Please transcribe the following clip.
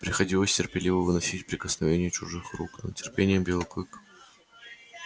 приходилось терпеливо выносить прикосновение чужих рук но терпением белый клык